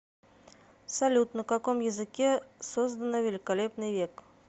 салют на каком языке создано великолепный век